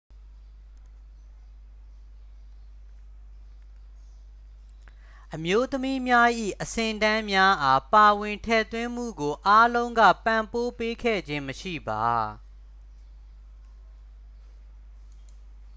အမျိုးသမီးများ၏ အဆင့်အတန်းများအား ပါဝင်ထည့်သွင်းမှုကို အားလုံးက ပံ့ပိုးပေးခဲ့ခြင်းမရှိပါ